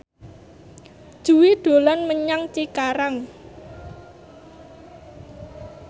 Jui dolan menyang Cikarang